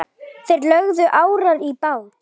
Þeir lögðu árar í bát.